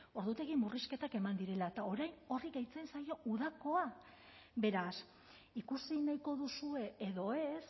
ordutegi murrizketak eman direla eta orain horri gehitzen zaio udakoa beraz ikusi nahiko duzue edo ez